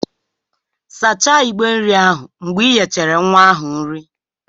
Sachaa ìgbé nri ahụ mgbe ị nyechara nwa ahụ nri